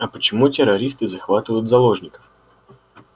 а почему террористы захватывают заложников